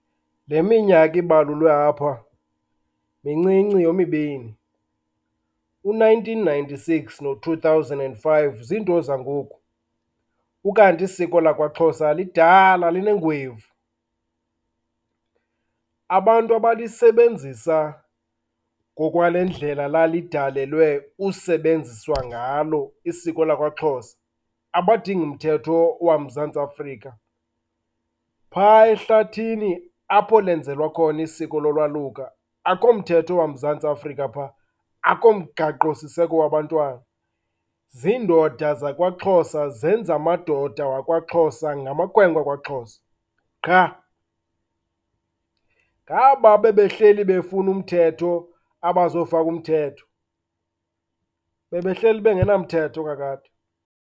Le minyaka ibalulwe apha mincinci yomibini. U-nineteen ninety-six no-two thousand and five ziinto zangoku, ukanti isiko lakwaXhosa lidala, linengwevu. Abantu abalisebenzisa ngokwale ndlela lalidalelwe usebenziswa ngalo isiko lakwaXhosa abadingi mthetho waMzantsi Afrika. Phaa ehlathini apho lenzelwa khona isiko lolwaluka, akukho mthethe waMzantsi Afrika phaa, akukho mgaqosiseko wabantwana. Ziindoda zakwaXhosa zenza amadoda wakwaXhosa ngamakhwenkwe akwaXhosa qha. Ngaba bebehleli befuna umthetho abazofaka umthetho. Bebehleli bengenamthetho kakade.